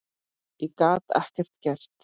Ég gat ekkert gert.